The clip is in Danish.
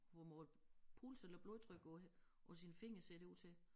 Får målt puls eller blodtryk på på sine fingre ser det ud til